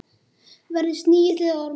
Verði snigill eða ormur.